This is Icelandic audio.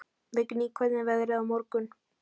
Vigný, hvernig er veðrið á morgun?